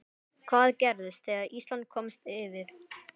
Hvað gerðist þegar Ísland komst yfir?